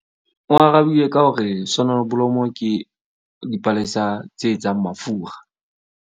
O arabile ka hore sonoblomo ke dipalesa tse etsang mafura.